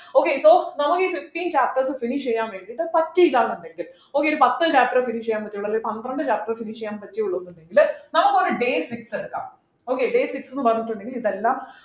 okay so നമ്മുക്ക് ഈ fifteen chapters finish ചെയ്യാൻ വേണ്ടിയിട്ട് പറ്റിയില്ല ന്നു വെക്ക് okay ഒരു പത്തു chapter finish ചെയ്യാൻ പറ്റിയുള്ളു അല്ലെങ്കിൽ ഒരു പന്ത്രണ്ടു chapter finish പറ്റിയിട്ടുള്ളൂ എന്നുണ്ടെങ്കിൽ നമുക്ക് ഒരു day six എടുക്കാം okay day six ന്നു പറഞ്ഞിട്ടുണ്ടെങ്കിൽ ഇതെല്ലാം